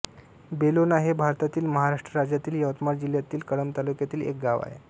बेलोणा हे भारतातील महाराष्ट्र राज्यातील यवतमाळ जिल्ह्यातील कळंब तालुक्यातील एक गाव आहे